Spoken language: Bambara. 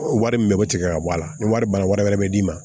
Wari min bɛ bɔ tigɛ ka bɔ a la ni wari banna wari wɛrɛ bɛ d'i ma